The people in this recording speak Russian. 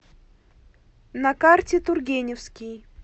на карте тургеневский